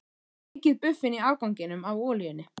Steikið buffin í afganginum af olíunni.